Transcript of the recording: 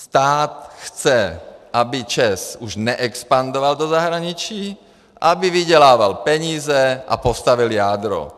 Stát chce, aby ČEZ už neexpandoval do zahraničí, aby vydělával peníze a postavil jádro.